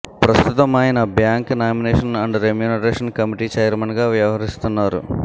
ప్రస్తుతం ఆయన bank nomination and remuneration committee ఛైర్మన్గా వ్యవహరిస్తున్నారు